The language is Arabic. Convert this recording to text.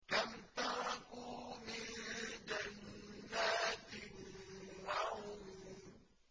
كَمْ تَرَكُوا مِن جَنَّاتٍ وَعُيُونٍ